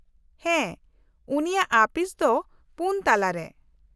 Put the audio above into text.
-ᱦᱮᱸ, ᱩᱱᱤᱭᱟᱜ ᱟᱹᱯᱤᱥ ᱫᱚ ᱯᱩᱱ ᱛᱟᱞᱟᱨᱮ ᱾